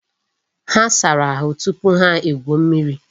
Ha sara ahu tupu ha egwuo mmiri.